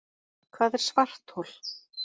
Hvað er svarthol?